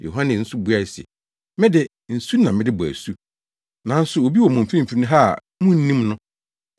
Yohane nso buae se, “Me de, nsu na mede bɔ asu, nanso obi wɔ mo mfimfini ha a munnim no,